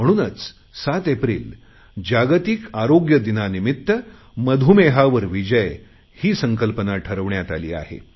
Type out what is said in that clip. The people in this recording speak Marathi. म्हणूनच सात एप्रिल जागतिक आरोग्य दिनानिमित्त मधुमेहावर विजय ही संकल्पना ठरवण्यात आली आहे